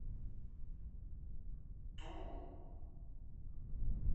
тулу